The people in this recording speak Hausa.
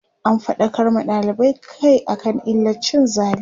an faɗakar ma dalibai Kai akan illar cin zali